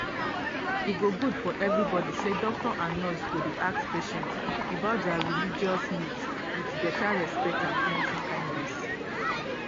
e go good for everybody say doctor and nurse go dey ask patient about dia religious needs with beta respect and plenty kindness.